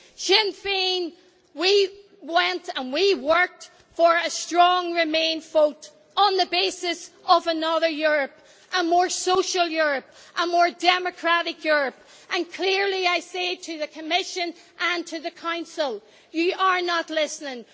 Sinn Féin worked for a strong remain vote on the basis of another Europe a more social Europe, a more democratic Europe and clearly I say to the Commission and to the Council that you are not listening.